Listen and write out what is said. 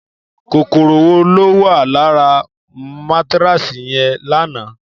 Kòkòrò wo ló wà lára mátáráàsì Yẹmí lánàá?